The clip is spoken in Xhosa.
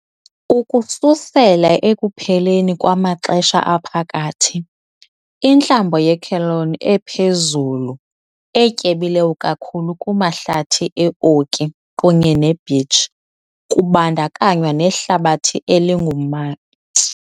Ukususela ekupheleni kwamaXesha Aphakathi, intlambo yeCelone ephezulu, etyebileyo kakhulu kumahlathi e-oki kunye ne-beech, kubandakanywa nehlabathi elingum.